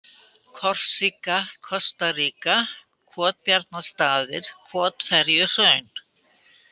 Korsíka, Kostaríka, Kotbjarnarstaðir, Kotferjuhraun